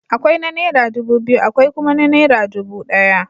Akwai na naira dubu biyu, akwai kuma na naira dubu ɗaya.